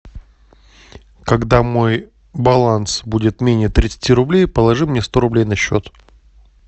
когда мой баланс будет менее тридцати рублей положи мне сто рублей на счет